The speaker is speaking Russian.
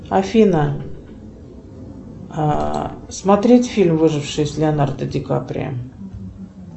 афина смотреть фильм выживший с леонардо ди каприо